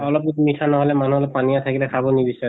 অলপ মি মিঠা নহলে মান্হু অলপ পানীয়া থাকিলে খাব নিবিছাৰে,